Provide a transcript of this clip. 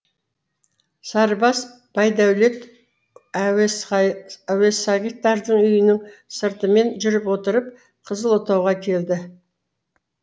сарыбас байдәулет әуесағиттардың үйінің сыртымен жүріп отырып қызыл отауға келді